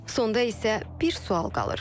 Sonda isə bir sual qalır.